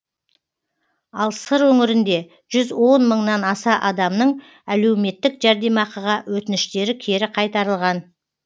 ал сыр өңірінде жүз он мыңнан аса адамның әлеуметтік жәрдемақыға өтініштері кері қайтарылған